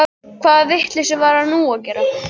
Hvaða vitleysu var hann nú að gera?